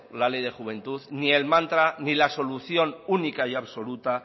la ley de juventud ni el mantra ni la solución única y absoluta